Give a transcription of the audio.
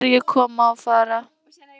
Nú sé ég sömu ferju koma og fara.